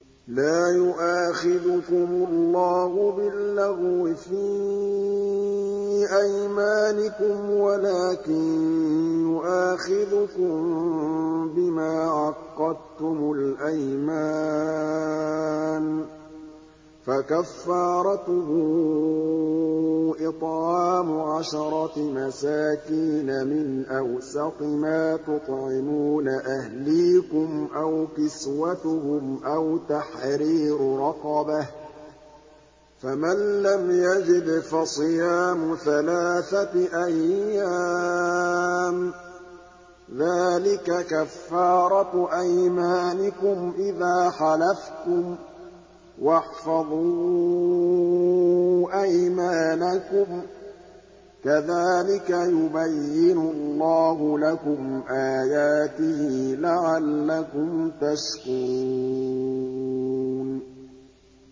لَا يُؤَاخِذُكُمُ اللَّهُ بِاللَّغْوِ فِي أَيْمَانِكُمْ وَلَٰكِن يُؤَاخِذُكُم بِمَا عَقَّدتُّمُ الْأَيْمَانَ ۖ فَكَفَّارَتُهُ إِطْعَامُ عَشَرَةِ مَسَاكِينَ مِنْ أَوْسَطِ مَا تُطْعِمُونَ أَهْلِيكُمْ أَوْ كِسْوَتُهُمْ أَوْ تَحْرِيرُ رَقَبَةٍ ۖ فَمَن لَّمْ يَجِدْ فَصِيَامُ ثَلَاثَةِ أَيَّامٍ ۚ ذَٰلِكَ كَفَّارَةُ أَيْمَانِكُمْ إِذَا حَلَفْتُمْ ۚ وَاحْفَظُوا أَيْمَانَكُمْ ۚ كَذَٰلِكَ يُبَيِّنُ اللَّهُ لَكُمْ آيَاتِهِ لَعَلَّكُمْ تَشْكُرُونَ